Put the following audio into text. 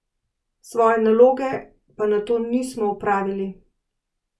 Svoje naloge pa nato nismo opravili.